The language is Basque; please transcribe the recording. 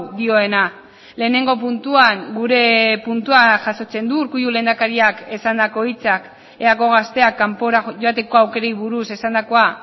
dioena lehenengo puntuan gure puntua jasotzen du urkullu lehendakariak esandako hitzak eako gazteak kanpora joateko aukerei buruz esandakoa